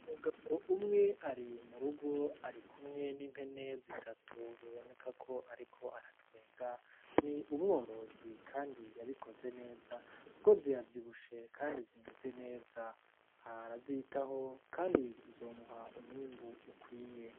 Umugabo umwe ari murugo, ari kumwe n'impene zitatu. Biboneka ko ariko aratwenga. Ni umworozi kandi yabikoze neza, kuko ziravyibushe, kandi zimeze neza. Arara arazitaho, kandi zizomuha umwimbu ukwiye.